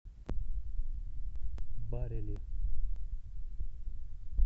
барели